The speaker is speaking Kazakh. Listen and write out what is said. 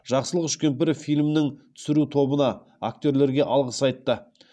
жақсылық үшкемпіров фильмнің түсіру тобына актерлерге алғыс айтты